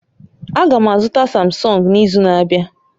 Aga m azụta Samsung n'izu na-abịa